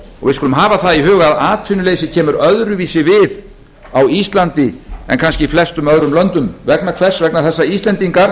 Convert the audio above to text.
og við skulum hafa það í huga að atvinnuleysið kemur öðruvísi við á íslandi en kannski í flestum öðrum löndum vegna hvers vegna þess að íslendingar